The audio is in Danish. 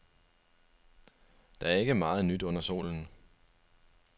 Der er ikke meget nyt under solen.